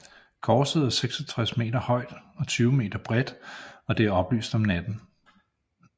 Korset er 66 meter højt og 20 meter bredt og det er oplyst om natten